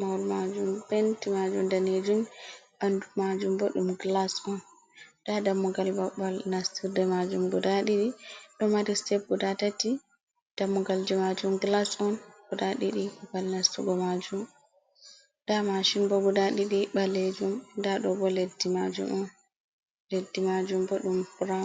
mahol majum penti majum danejum, bandu majum bo ɗum glas on, nda dammugal babbal nastirde majum guda ɗiɗi ɗo mari step guda tati, dammugal ji majum glas on guda ɗiɗi, babal nastugo majum nda mashin bo guda ɗiɗi ɓalejum, nda ɗo bo leddi majum on leddi majum bo ɗum brown Un.